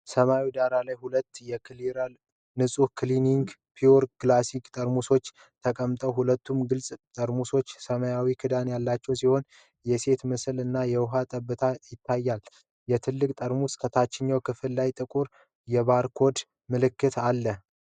ሰማያዊ ዳራ ላይ ሁለት የክሌር (Clere) ንፁህ ግሊሰሪን (pure glycerine) ጠርሙሶች ተቀምጠዋል። ሁለቱም ግልፅ ጠርሙሶች ሰማያዊ ክዳን ያላቸው ሲሆን፣ የሴት ምስል እና የውሃ ጠብታ ይታይባቸዋል። የትልቁ ጠርሙስ ታችኛው ክፍል ላይ ጥቁር የባርኮድ ምልክት አለ።